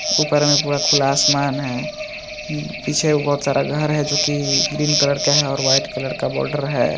ऊपर में पूरा खुला आसमान है। पीछे बहुत सारा घर है। जो की ग्रीन कलर का है। और व्हाइट कलर का बॉर्डर है।